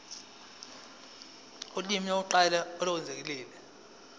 ulimi lokuqala olwengeziwe